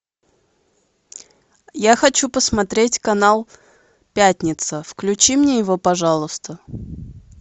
я хочу посмотреть канал пятница включи мне его пожалуйста